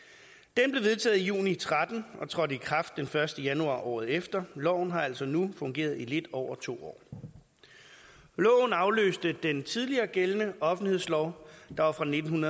den blev vedtaget i juni tretten og trådte i kraft den første januar året efter loven har altså nu fungeret i lidt over to år loven afløste den tidligere gældende offentlighedslov der var fra nitten